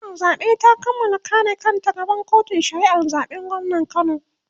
hukumar zaɓe ta Kamala kare kanta a gaban kotun shari'ar zaɓen gwamnan kano